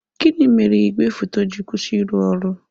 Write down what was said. Gịnị mere igwe foto ji kwụsị ịrụ ọrụ?